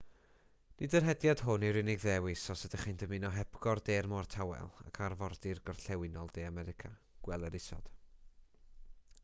nid yr hediad hwn yw'r unig ddewis os ydych chi'n dymuno hepgor de'r môr tawel ac arfordir gorllewinol de america. gweler isod